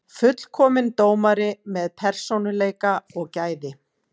Fullkominn dómari með persónuleika og gæði.